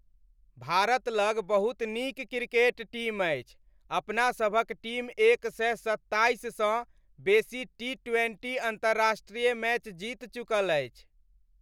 भारत लग बहुत नीक क्रिकेट टीम अछि। अपनासभक टीम एक सए सत्ताइस सँ बेसी टी ट्वेंटी अन्तर्राष्ट्रीय मैच जीत चुकल अछि।